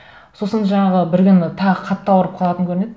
сосын жаңағы бір күні тағы қатты ауырып қалатын көрінеді